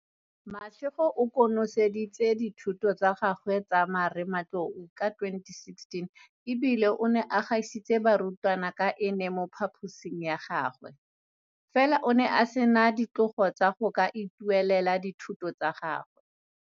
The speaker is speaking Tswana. Mashego o konoseditse dithuto tsa gagwe tsa marematlou ka 2016 e bile o ne a gaisitse barutwa ka ene mo phaposing ya gagwe, fela o ne a sena ditlogo tsa go ka ituelela dithuto tsa gagwe.